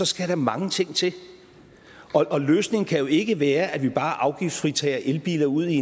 skal der mange ting til og løsningen kan jo ikke være at vi bare afgiftsfritager elbiler ud i